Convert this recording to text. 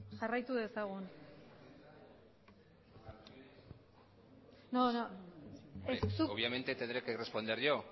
jarraitu dezagun obviamente tendré que responder yo